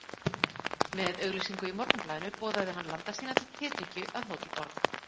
Með auglýsingu í Morgunblaðinu boðaði hann landa sína til tedrykkju að Hótel Borg.